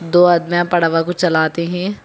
दो आदमी यहां को चलाते हैं।